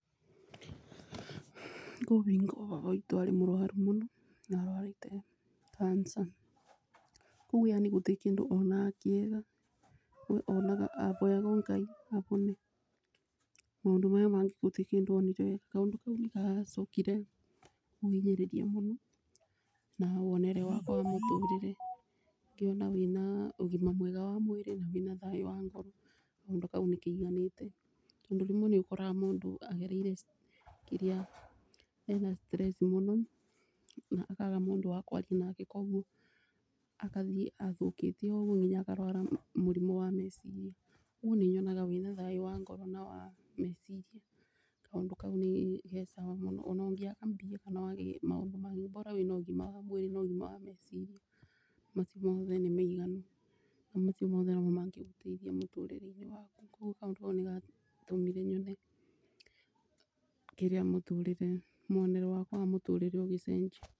Kwĩ hingo baba witũ arĩ mũrũaru mũno, na arũarĩte cancer. Tuuge yaani gũtirĩ kĩndũ onaga kĩega, onaga aboyaga Ngai abone. Maũndũ maya mangĩ gũtirĩ kĩndũ onire. Kaũndũ kau nĩgacokire kũbinyĩrĩria mũno na wonere wakwa wa mũtũrĩre. Ngĩona wĩna ũgima mwega wa mwĩrĩ na wĩ na thayũ wa ngoro, kaũndũ kau nĩ kaiganĩte, tondũ rĩmwe ũkoraga mũndũ agereire kĩrĩa, ena stress mũno na akaaga mũndũ wa kwaria nake, koguo akathiĩ athũkĩte ũguo akarũara mũrimũ wa meciria, ũguo nĩ nyonaga wĩ na thayũ wa ngoro na wa meciria, kaũndũ kau nĩ ge sawa mũno. Ona ũngĩaga mbia kana wage maũndũ mangĩ, bora [cs wĩna ũgima wa meciria, macio mothe nĩ maiganu. Na macio mothe no mo mangĩteithia mũtũrĩre waku. Koguo kaũndũ kau nĩ gatũmire nyone kĩrĩa mũtũrĩre, mwonere wakwa wa mũtũrĩre ũgĩcenjia.